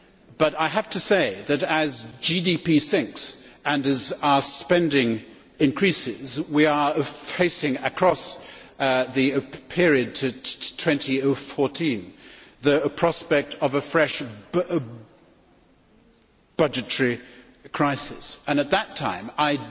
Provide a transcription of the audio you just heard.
But I have to say that, as GDP sinks and as our spending increases, we are facing, across the period to 2014, the prospect of a fresh budgetary crisis, and at that time, I